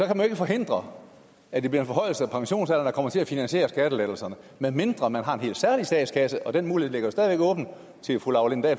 kan man forhindre at det bliver en forhøjelse af pensionsalderen der kommer til at finansiere skattelettelserne medmindre man har en helt særlig statskasse og den mulighed ligger jo stadig åben for fru laura lindahl